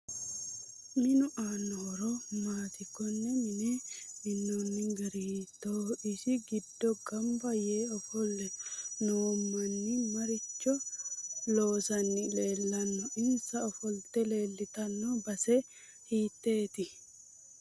Minu aanno horo maati konne mine minooni gari hiitooho isi giddo ganba yee ofolle noo manni maricho loosani leelanno insa ofolte leeltanno base hiitoote